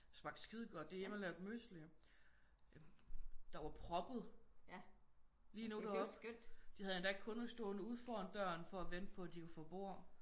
Det smagte skidegodt det er hjemmelavet mysli. Der var proppet lige nu de havde endda kunder stående uden foran døren for at vente på at de kunne få bord